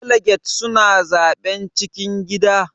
Daliget suna zaɓen cikin gida.